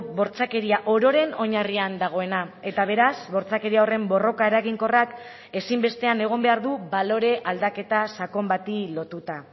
bortxakeria ororen oinarrian dagoena eta beraz bortxakeria horren borroka eraginkorrak ezinbestean egon behar du balore aldaketa sakon bati lotuta